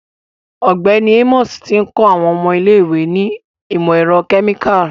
Ọgbẹni Amos ti n kọ awọn ọmọ ile-iwe ni imọ-ẹrọ kemikali